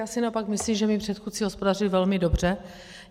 Já si naopak myslím, že mí předchůdci hospodařili velmi dobře.